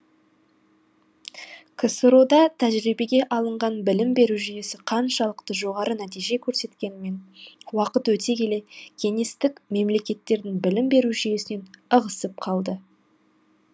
ксро да тәжірибеге алынған білім беру жүйесі қаншалықты жоғары нәтиже көрсеткенімен уақыт өте келе кеңестік мемлекеттердің білім беру жүйесінен ығысып қалды